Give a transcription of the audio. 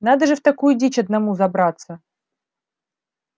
надо же в такую дичь одному забраться